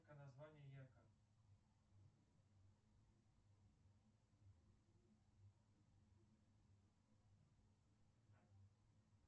сбер что такое южная италия